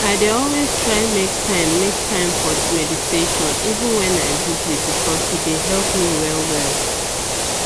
i dey always try make time make time for meditation even wen i busy because e dey help me well well